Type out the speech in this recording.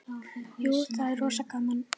Jú, það er rosa gaman.